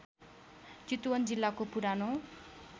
चितवन जिल्लाको पुरानो